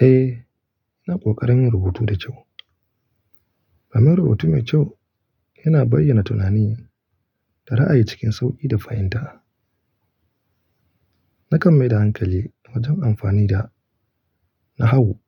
Eh, ina ƙoƙarin rubutu da kyau. Domin rubutu mai kyau yana bayyana tunani da ra'ayi cikin sauƙi da fahimta. Nakan mai da hankali wajen amfani da nahawu